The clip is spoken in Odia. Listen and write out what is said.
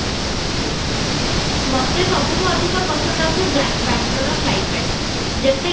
ମୋତେ ସବୁଠୁ ଅଧିକ ପସନ୍ଦ ଆସେ ବାଙ୍ଗାଲୁରୁର climate ଯେତେଯାହା